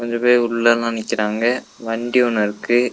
கொஞ்சோ பேரு உள்ளன்னா நிக்கிறாங்க வண்டி ஒன்னு இருக்கு.